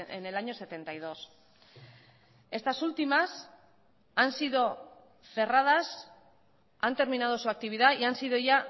en el año setenta y dos estas últimas han sido cerradas han terminado su actividad y han sido ya